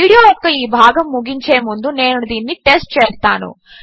video యొక్క ఈ భాగము ముగించే ముందు నేను దీనిని టెస్ట్ చేస్తాను